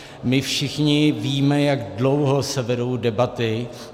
My všichni víme, jak dlouho se vedou debaty.